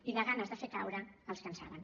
i de ganes de fer caure els que en saben